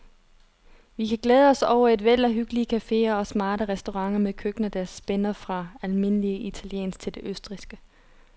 Vi kan glæde os over et væld af hyggelige caféer og smarte restauranter med køkkener, der spænder fra almindelig italiensk til det østrigske.